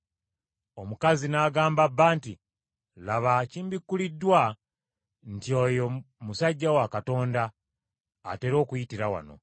Omukazi n’agamba bba nti, “Laba kimbikkuliddwa nti oyo musajja wa Katonda, atera okuyitira wano.